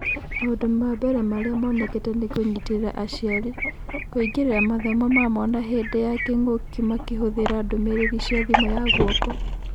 Maũndũ ma mbere marĩa monekete nakũnyitĩrĩra aciari - kũingĩrĩra mathomo ma mwana hĩndĩ ya kĩng'ũki makĩhũthĩra ndũmĩrĩri cia thimũ ya guoko.